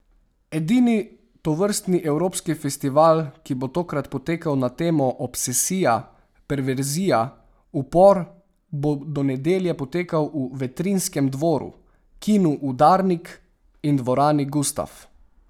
Edini tovrstni evropski festival, ki bo tokrat potekal na temo Obsesija, perverzija, upor, bo do nedelje potekal v Vetrinjskem dvoru, Kinu Udarnik in dvorani Gustaf.